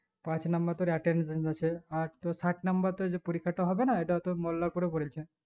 পাঁচ number তোর attendance আছে আর তোর third number তোর যে পরীক্ষাটো হবে না ইটা তোর mollarpur এ পোলছে